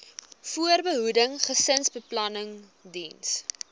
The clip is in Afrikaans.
voorbehoeding gesinsbeplanning diens